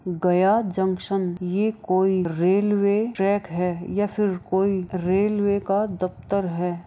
गया junction यह कोई railway track है या फिर कोई रेलवे का दफ्तर है।